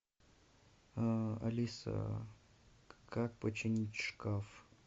алиса как починить шкаф